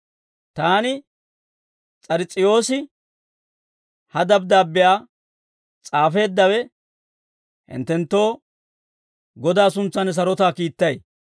Taani, S'ars's'iyoosi, ha dabddaabbiyaa s'aafeeddawe, hinttenttoo Godaa suntsan sarotaa kiittay.